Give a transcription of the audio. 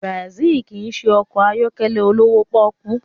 Benz kì í ṣe ọkọ̀ ayọ́kẹ́lẹ́ olówó pọ́ọ́kú